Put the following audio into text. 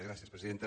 gràcies presidenta